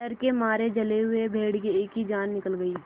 डर के मारे जले हुए भेड़िए की जान निकल गई